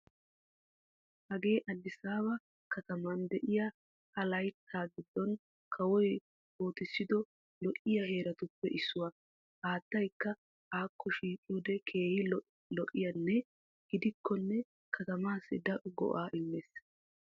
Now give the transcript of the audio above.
Hagee addisaaba kattaman diya ha layttaa giddon kawoy ootissido lo'iyaa heeratuppe issuwa. Haattaykka akko shiiqiyode keehi lo'enna gidikkonne katamaassi daro go'aa immees.